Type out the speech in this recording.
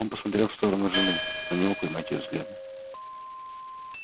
он посмотрел в сторону жены но не мог поймать её взгляда